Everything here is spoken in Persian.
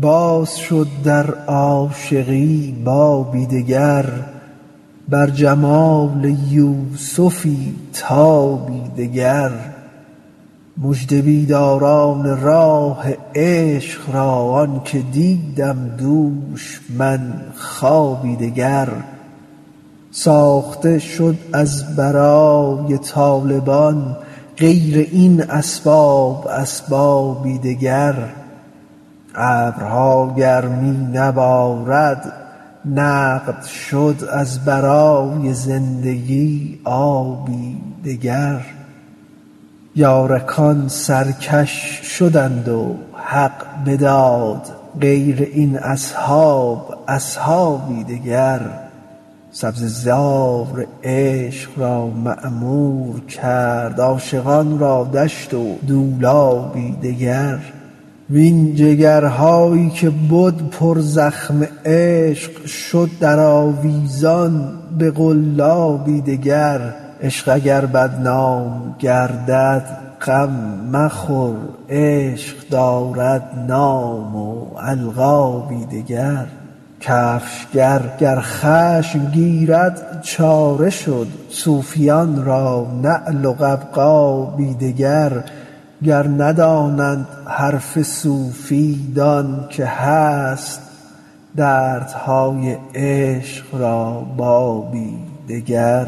باز شد در عاشقی بابی دگر بر جمال یوسفی تابی دگر مژده بیداران راه عشق را آنک دیدم دوش من خوابی دگر ساخته شد از برای طالبان غیر این اسباب اسبابی دگر ابرها گر می نبارد نقد شد از برای زندگی آبی دگر یارکان سرکش شدند و حق بداد غیر این اصحاب اصحابی دگر سبزه زار عشق را معمور کرد عاشقان را دشت و دولابی دگر وین جگرهایی که بد پرزخم عشق شد درآویزان به قلابی دگر عشق اگر بدنام گردد غم مخور عشق دارد نام و القابی دگر کفشگر گر خشم گیرد چاره شد صوفیان را نعل و قبقابی دگر گر نداند حرف صوفی دان که هست دردهای عشق را بابی دگر